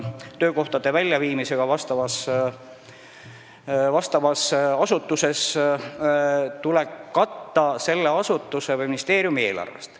Töökohtade väljaviimisega seotud tavakulud vastavas asutuses tuleb katta selle asutuse või ministeeriumi eelarvest.